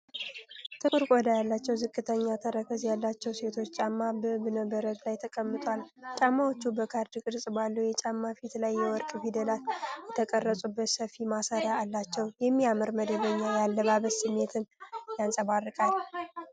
ጥቁር ቆዳ ያላቸው ዝቅተኛ ተረከዝ ያላቸው ሴቶች ጫማ በእብነ በረድ ላይ ተቀምጧል። ጫማዎቹ በካሬ ቅርጽ ባለው የጫማ ፊት ላይ የወርቅ ፊደላት የተቀረጹበት ሰፊ ማሰሪያ አላቸው። የሚያምር መደበኛ የአለባበስ ስሜትን ያንፀባርቃል።